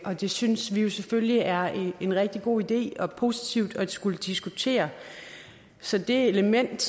og det synes vi selvfølgelig er en rigtig god idé det er positivt at skulle diskutere så det element